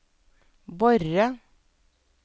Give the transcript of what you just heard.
Borre